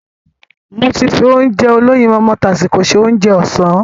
Mo ti fi Ounjẹ olóyinmọmọ tásíko se Ounjẹ ọ̀sán